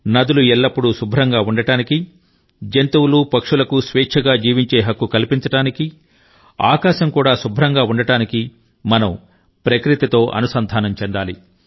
నదులు ఎల్లప్పుడూ శుభ్రంగా ఉండడానికి జంతువులు పక్షులకు స్వేచ్ఛగా జీవించే హక్కు కల్పించడానికి ఆకాశం కూడా శుభ్రంగా ఉండడానికి మనం ప్రకృతితో అనుసంధానం చెందాలి